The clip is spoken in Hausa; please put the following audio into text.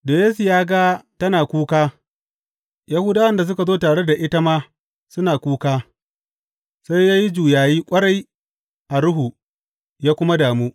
Da Yesu ya ga tana kuka, Yahudawan da suka zo tare da ita ma suna kuka, sai ya yi juyayi ƙwarai a ruhu ya kuma damu.